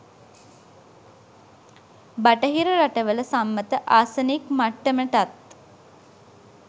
බටහිර රටවල සම්මත ආසනික් මට්ටමටත්